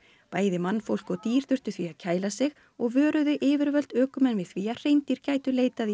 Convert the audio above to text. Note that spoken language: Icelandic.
bæði mannfólk og dýr þurftu því að kæla sig og vöruðu yfirvöld ökumenn við því að hreindýr gætu leitað í